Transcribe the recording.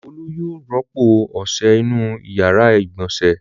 Olu yóò rọ́pò ọṣẹ inú ìyàrá-ìgbọ̀nsẹ̀.